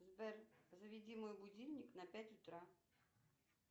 сбер заведи мой будильник на пять утра